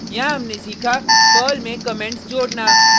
यहाँ हमने सीखा पर्ल में कमेंट्स जोडना